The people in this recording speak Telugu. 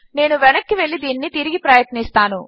నేను వెనక్కు వెళ్ళి దీనిని తిరిగి ప్రయత్నిస్తాను